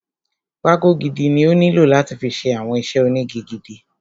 Pákó gidi ni ó nílò láti fi ṣe àwọn iṣẹ́ ónigi gidi.